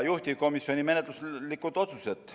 Juhtivkomisjoni menetluslikud otsused.